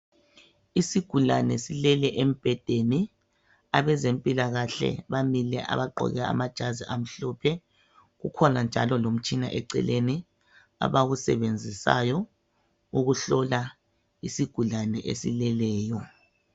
Isigulane silele embhedeni. Abezempilakahle bamile. Abagqoke amajazi amhlophe. Kukhona njalo lomtshina eceleni, abawusebenzisayo, ukuhlola isigulane esileleyo.